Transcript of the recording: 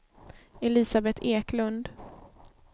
Elisabet Eklund